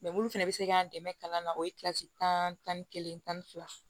minnu fana bɛ se k'an dɛmɛ kalan na o ye kilasi tan ni kelen tan ni fila